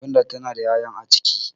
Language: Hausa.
gwanda tana da ya'ya a ciki